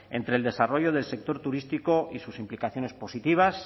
entre el desarrollo del sector turístico y sus implicaciones positivas